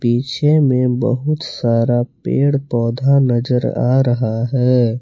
पीछे में बहुत सारा पेड़ पौधा नजर आ रहा है।